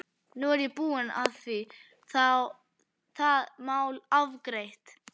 Nú er ég búinn að því og það mál afgreitt.